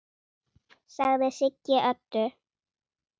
sagði Siggi Öddu.